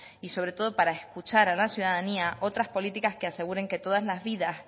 y sobre todo para escuchar a la ciudadanía otras políticas que aseguren que todas las vidas